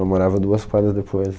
Ela morava duas quadras depois.